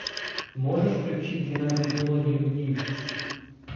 можешь включить двенадцать мелодий любви